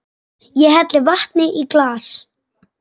Ég helli vatni í glas.